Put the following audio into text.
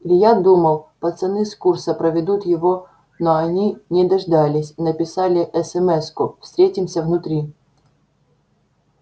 илья думал пацаны с курса проведут его но они не дождались написали эсэмэску встретимся внутри